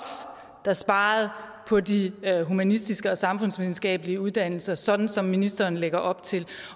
der sparede på de humanistiske og samfundsvidenskabelige uddannelser sådan som ministeren lægger op til